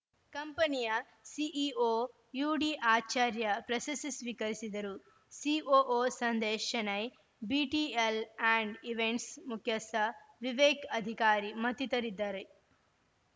ಕಂಪನಿಯ ಸಿಇಒ ಯುಡಿಆಚಾರ್ಯ ಪ್ರಶಸ್ತಿ ಸ್ವೀಕರಿಸಿದರು COO Sandesh Shenoy BTL and events ಮುಖ್ಯಸ್ಥ ವಿವೇಕ್‌ ಅಧಿಕಾರಿ ಮತ್ತಿತರಿದ್ದಾರೆ